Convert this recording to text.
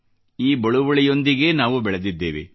ಈ ಬಳುವಳಿಯೊಂದಿಗೆಯೇ ನಾವು ಬೆಳೆದಿದ್ದೇವೆ